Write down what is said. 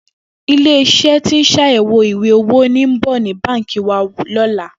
Ilé is̩é̩ tí ń s̩àyè̩wò ìwé-owó ń bò̩ ní è̩ka báǹkì wa ló̩la